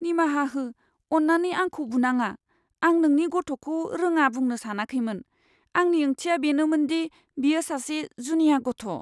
निमाहा हो, अन्नानै आंखौ बुनाङा। आं नोंनि गथ'खौ रोङा बुंनो सानाखैमोन। आंनि ओंथिया बेनोमोनदि बियो सासे जुनिया गथ'।